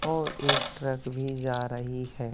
और एक ट्रक भी जा रही है।